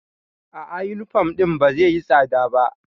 A'a, yunifom ɗin ba zai yi tsada ba.